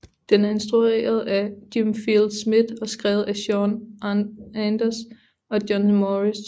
Den er instrueret af Jim Field Smith og skrevet af Sean Anders og John Morris